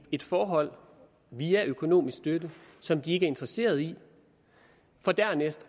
et forhold via økonomisk støtte som de ikke er interesseret i for dernæst